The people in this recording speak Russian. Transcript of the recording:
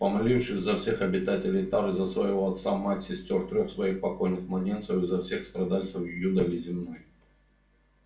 помолившись за всех обитателей тары за своего отца мать сестёр трёх своих покойных младенцев и за всех страдальцев юдоли земной